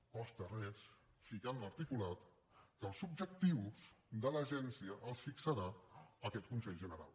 no costa res ficar en l’articulat que els objectius de l’agència els fixarà aquest consell general